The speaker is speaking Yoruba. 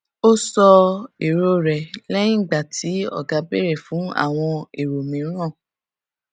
ó sọ èrò rẹ lẹyìn tí ọga béèrè fún àwọn èrò mìíràn